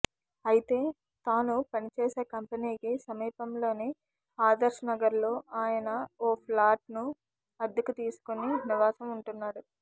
అయితే తాను పనిచేసే కంపెనీకి సమీపంలోని ఆదర్శ్నగర్లో ఆయన ఓ ఫ్లాట్ను అద్దెకు తీసుకొని నివాసం ఉంటున్నాడు